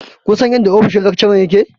Kun san inda ofishin lakcharan yake?